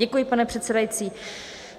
Děkuji, pane předsedající.